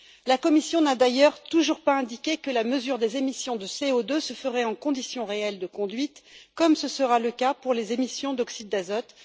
La Commission n'a d'ailleurs toujours pas indiqué que la mesure des émissions de CO2 se ferait en conditions réelles de conduite, comme ce sera le cas pour les émissions d'oxyde d'azote.